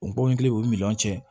O bɔn kelen o miliyɔn cɛ